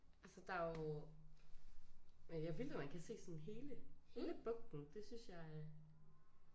Altså der er jo men ja vildt at man kan se sådan hele hele bugten det synes jeg er